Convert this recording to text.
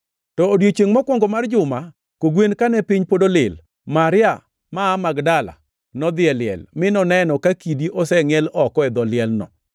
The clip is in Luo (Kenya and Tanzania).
To odiechiengʼ mokwongo mar juma, kogwen, kane piny pod olil, Maria ma aa Magdala nodhi e liel, mi noneno ka kidi osengʼiel oko e dho lielno.